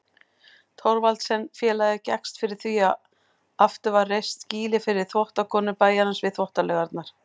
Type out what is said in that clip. Thorvaldsensfélagið gekkst fyrir því að aftur var reist skýli fyrir þvottakonur bæjarins við Þvottalaugarnar.